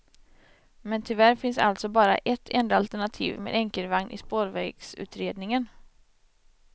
Men tyvärr finns alltså bara ett enda alternativ med enkelvagn i spårvägsutredningen.